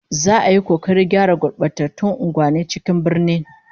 Za'a yi kokarin gyara gurbatattun unguwannin cikin birnin